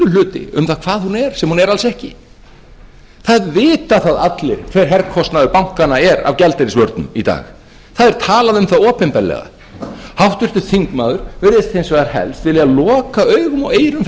bulluhluti um það hvað hún er sem hún er alls ekki það vita það allir hver herkostnaður bankanna er af gjaldeyrisvörnum í dag það er talað um það opinberlega háttvirtur þingmaður virðist hins vegar helst vilja loka augum og eyrum fyrir